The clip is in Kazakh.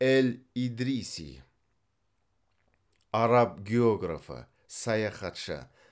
эль идриси араб географы саяхатшы